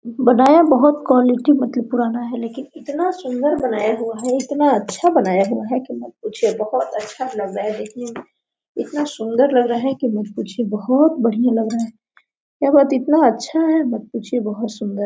बनाया बहुत क्वालिटी में मतलब पुराना है लेकिन इतना सुन्दर बनाया हुआ है और इतना अच्छा बनाया हुआ है की मत ही पूछिए बहुत अच्छा लगा रहा है देखने में इतना सुन्दर लगा है की मत पूछिये बहुत बढ़िया लग रहा है और बहुत इतना अच्छा है की मत पूछिए बहुत सुन्दर--